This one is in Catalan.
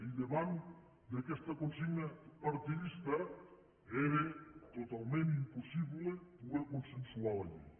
i davant d’aquesta consigna partidista era totalment impossible poder consensuar la llei